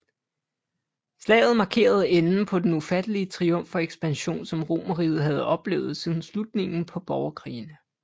Slaget markerede enden på den ufattelige triumf og ekspansion som Romerriget havde oplevet siden slutningen på borgerkrigene